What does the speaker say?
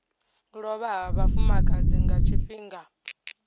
lovha ha vhafumakadzi nga tshifhinga